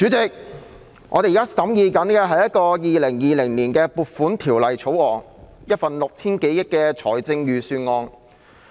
主席，我們現正審議《2020年撥款條例草案》，一份涉及 6,000 多億元開支的財政預算案。